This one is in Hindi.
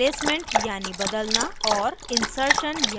insertion यानी समावेश करना